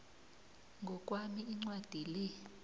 ngokwami incwadi le